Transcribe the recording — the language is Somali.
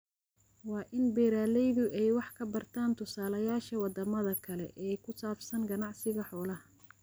Waa in beeralaydu ay wax ka bartaan tusaalayaasha wadamada kale ee ku saabsan ganacsiga xoolaha.